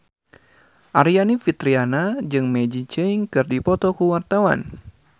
Aryani Fitriana jeung Maggie Cheung keur dipoto ku wartawan